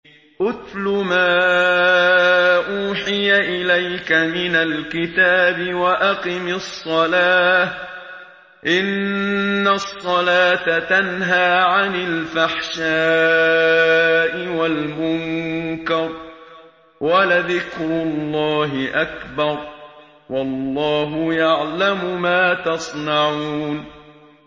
اتْلُ مَا أُوحِيَ إِلَيْكَ مِنَ الْكِتَابِ وَأَقِمِ الصَّلَاةَ ۖ إِنَّ الصَّلَاةَ تَنْهَىٰ عَنِ الْفَحْشَاءِ وَالْمُنكَرِ ۗ وَلَذِكْرُ اللَّهِ أَكْبَرُ ۗ وَاللَّهُ يَعْلَمُ مَا تَصْنَعُونَ